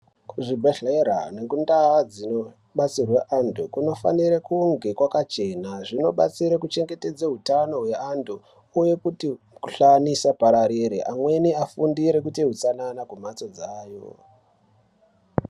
Kuzvibhedhlera nekundau dzinobatsirwe antu kunofanire kunge kwakachena. Zvinobatsire kuchengetedze utano hweantu uye kuti mukuhlani isapararira, amweni afundire kuite utsanana kumhatso dzawo.